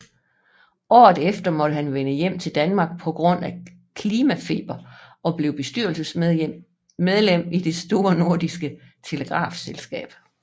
Året efter måtte han vende hjem til Danmark på grund af klimafeber og blev bestyrelsesmedlem i Det Store Nordiske Telegrafselskab